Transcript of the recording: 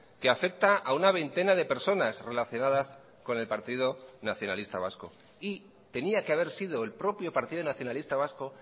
que afecta a una veintena de personas relacionadas con el partido nacionalista vasco y tenía que haber sido el propio partido nacionalista vasco